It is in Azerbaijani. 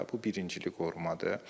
Bu birincili qorumadır.